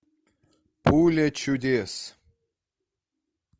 пуля чудес